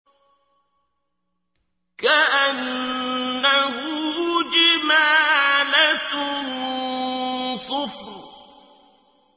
كَأَنَّهُ جِمَالَتٌ صُفْرٌ